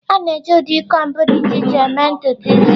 A na-eji ụdị combs dị iche iche eme ntutu isi.